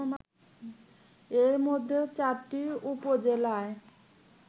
এর মধ্যে ৪টি উপজেলায়